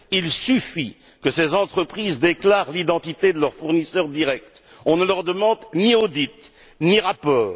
Il suffit que ces entreprises déclarent l'identité de leurs fournisseurs directs, on ne leur demande ni audit ni rapport.